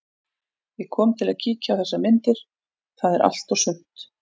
Ég kom til að kíkja á þessar myndir, það er allt og sumt.